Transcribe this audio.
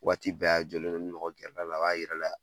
Waati bɛɛ a jɔlen n'o ni mɔgɔ gɛrɛ la a b'a yira la